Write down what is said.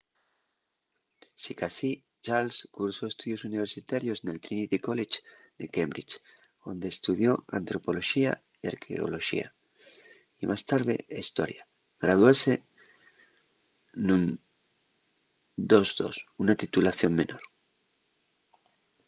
sicasí charles cursó estudios universitarios nel trinity college de cambridge onde estudió antropoloxía y arqueoloxía y más tarde hestoria; graduóse nun 2:2 una titulación menor